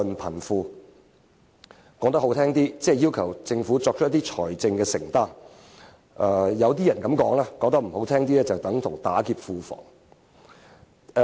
說得動聽一點，即要求政府作出一些財政承擔；說得難聽一點，就是"打劫"庫房。